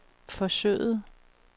forsøget